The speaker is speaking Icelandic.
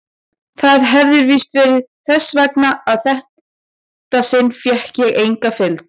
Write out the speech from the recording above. Það hefir víst verið þess vegna að þetta sinn fékk ég enga fylgd.